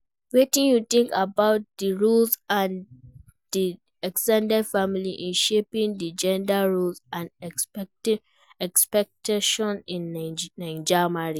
Wetin you think about di role of di ex ten ded family in shaping di gender roles and expectations in Naija marriage?